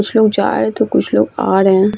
कुछ लोग जा रहे हैं तो कुछ लोग आ रहे हैं |